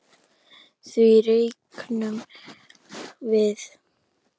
Því reiknum við